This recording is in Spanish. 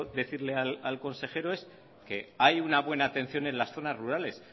decirle al consejero es que hay una buena atención en las zonas rurales